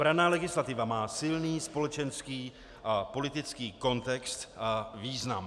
Branná legislativa má silný společenský a politický kontext a význam.